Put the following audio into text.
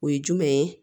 O ye jumɛn ye